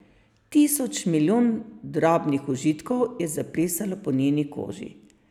Tisoč, milijon drobnih užitkov je zaplesalo po njeni koži.